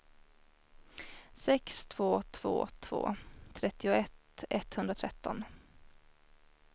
sex två två två trettioett etthundratretton